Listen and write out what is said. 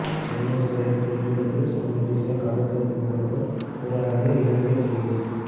சென்னை சிறைக்குள் இருந்தபடி சர்வதேச கடத்தல் கும்பலுடன் உரையாடிய இலங்கை கைதி